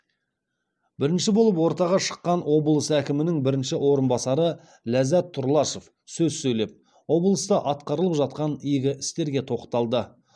бірінші болып ортаға шыққан облыс әкімінің бірінші орынбасары ляззат тұрлашов сөз сөйлеп облыста атқарылып жатқан игі істерге тоқталды